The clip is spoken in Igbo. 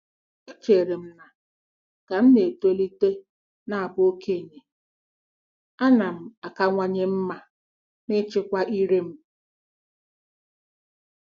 .Echere m na ka m na-etolite na abụ okenye, a na m akawanye mma n'ịchịkwa ire m.